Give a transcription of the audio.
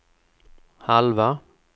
halva